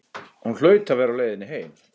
Hún hlaut að vera á leiðinni heim.